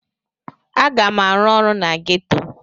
Aga m arụ ọrụ na geto.